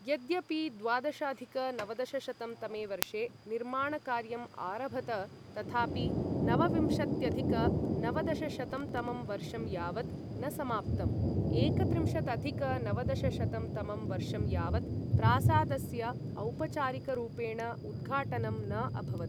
यद्यपि द्वादशाधिक नवदशशतं तमे वर्षे निर्माणकार्यं आरभत, तथापि नवविंशत्यधिक नवदशशतं तमं वर्षं यावत् न समाप्तम्, एकत्रिंशदधिक नवदशशतं तमं वर्षं यावत् प्रासादस्य औपचारिकरूपेण उद्घाटनं न अभवत्।